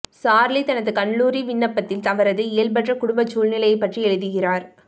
Charlie தனது கல்லூரி விண்ணப்பத்தில் அவரது இயல்பற்ற குடும்ப சூழ்நிலை பற்றி எழுதுகிறார்